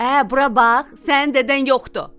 “Ə, bura bax, sənin dədən yoxdur!”